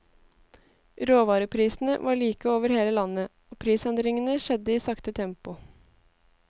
Råvareprisene var like over hele landet, og prisendringene skjedde i sakte tempo.